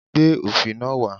Gbé òfì náà wá!